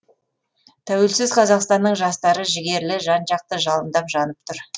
тәуелсіз қазақстанның жастары жігерлі жан жақты жалындап жанып тұр